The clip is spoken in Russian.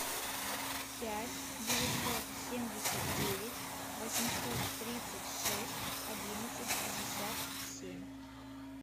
пять девятьсот семьдесят девять восемьсот тридцать шесть одиннадцать пятьдесят семь